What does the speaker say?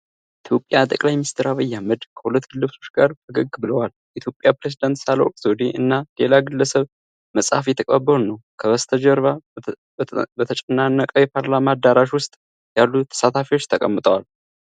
የኢትዮጵያ ጠቅላይ ሚኒስትር ዐብይ አህመድ ከሁለት ግለሰቦች ጋር ፈገግ ብለዋል። የኢትዮጵያ ፕሬዝዳንት ሳህለወርቅ ዘውዴ እና ሌላ ግለሰብ መጽሐፍ እየተቀባበሉ ነው። ከበስተጀርባ በተጨናነቀ የፓርላማ አዳራሽ ውስጥ ያሉ ተሳታፊዎች ተቀምጠዋል።